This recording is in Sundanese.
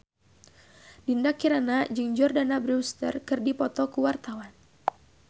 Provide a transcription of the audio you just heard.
Dinda Kirana jeung Jordana Brewster keur dipoto ku wartawan